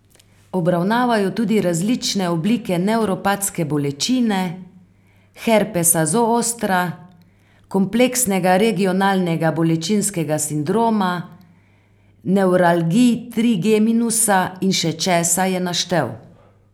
Obravnavajo tudi različne oblike nevropatske bolečine, herpesa zostra, kompleksnega regionalnega bolečinskega sindroma, nevralgij trigeminusa in še česa, je naštel.